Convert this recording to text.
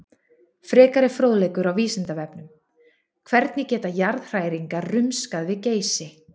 Frekari fróðleikur á Vísindavefnum: Hvernig geta jarðhræringar rumskað við Geysi?